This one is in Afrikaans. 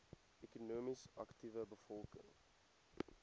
ekonomies aktiewe bevolking